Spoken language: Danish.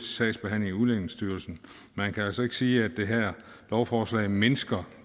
sagsbehandling i udlændingestyrelsen man kan altså ikke sige at det her lovforslag mindsker